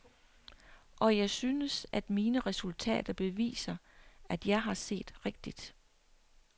Og jeg synes, at mine resultater beviser, at jeg har set rigtigt.